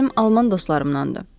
Mənim alman dostlarımdandır.